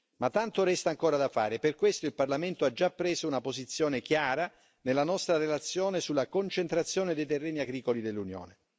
Ma tanto resta ancora da fare e per questo il Parlamento ha già preso una posizione chiara nella nostra relazione sulla concentrazione dei terreni agricoli dell'Unione.